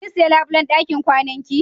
Kin siya labulen ɗakin kwanan ki?